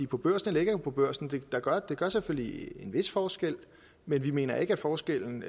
på børsen eller ikke er på børsen gør selvfølgelig en vis forskel men vi mener ikke at forskellen